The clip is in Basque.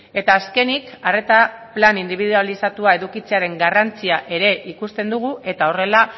eta azkenik arreta plan indibidualizatua edukitzearen garrantzia ere ikusten dugu eta horrela